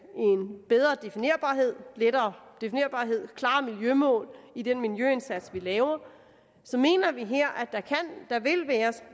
en bedre definerbarhed lettere definerbarhed klarere miljømål i den miljøindsats vi laver så mener vi